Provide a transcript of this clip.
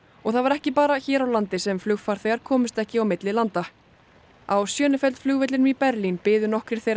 og það var ekki bara hér á landi sem flugfarþegar komust ekki á milli landa á flugvellinum í Berlín biðu nokkrir þeirra